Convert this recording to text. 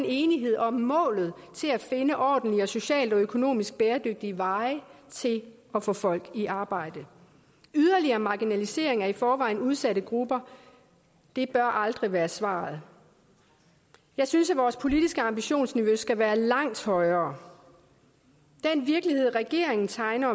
enighed om målet til at finde ordentlige og socialt og økonomisk bæredygtige veje til at få folk i arbejde en yderligere marginalisering af i forvejen udsatte grupper bør aldrig være svaret jeg synes at vores politiske ambitionsniveau skal være langt højere den virkelighed regeringen tegner